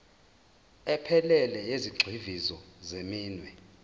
ephelele yezigxivizo zeminwe